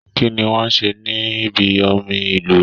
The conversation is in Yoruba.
Kínní wọn ṣe ní bí omi ilúwẹ?